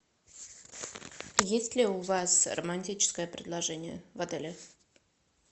есть ли у вас романтическое предложение в отеле